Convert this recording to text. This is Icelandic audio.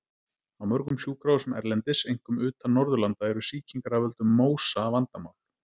Á mörgum sjúkrahúsum erlendis, einkum utan Norðurlanda, eru sýkingar af völdum MÓSA vandamál.